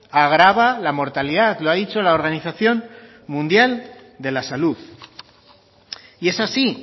agrava la mortalidad lo ha dicho la organización mundial de la salud y es así